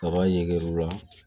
Kaba yer'u la